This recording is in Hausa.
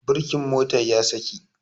Birkin motar ya saki